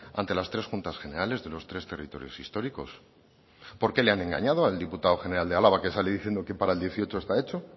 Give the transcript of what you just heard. ante las tres juntas generales de los tres territorios históricos por qué le han engañado al diputado general de álava que sale diciendo que para el dieciocho está hecho